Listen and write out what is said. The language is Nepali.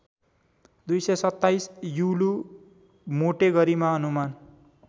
२२७ युलू मोटे गरिमा अनुमान